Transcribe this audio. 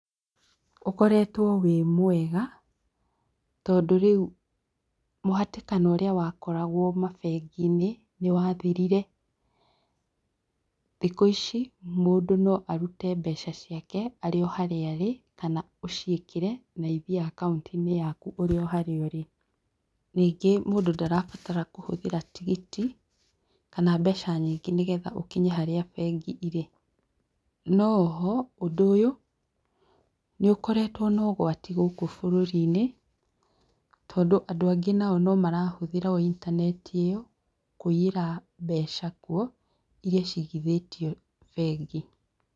Ũkoretwo wĩ mwega, tondũ rĩu mũhatĩkano ũrĩa wakoragwo mabengi-inĩ nĩ wathirire. Thikũ ici mũndũ no arute mbeca ciake arĩ o harĩa arĩ kana ũciĩkĩre na ithiĩ akaũntĩ-inĩ yaku ũrĩ o harĩa ũrĩ. Ningĩ mũndũ ndarabatara kũhũthĩra tigiti, kana mbeca nyingĩ nĩgetha ũkinye harĩa bengi irĩ. No, o ho, ũndũ ũyũ, nĩ ũkoretwo na ũgwati gũkũ bũrũri-inĩ, tondũ, andũ angĩ nao no marahũthĩra o intaneti ĩyo, kũiyĩra mbeca kuo iria ciigithĩtio bengi.